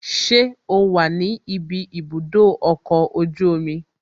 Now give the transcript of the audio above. Ṣé o wà ní ibi ibùdó ọkọ̀ ojú omi?